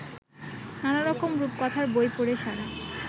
নানারকম রূপকথার বই পড়ে সারা